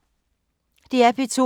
DR P2